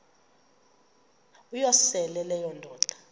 uyosele leyo indoda